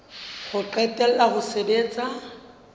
ho qetela la ho sebetsa